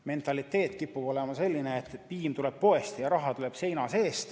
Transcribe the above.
Mentaliteet kipub olema selline, et piim tuleb poest ja raha tuleb seina seest.